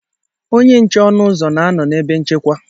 Onye nche ọnụ ụzọ na-anọ n'ebe nchekwa.